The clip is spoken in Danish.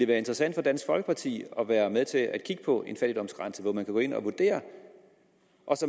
være interessant for dansk folkeparti at være med til at kigge på en fattigdomsgrænse så vi kan gå ind og vurdere og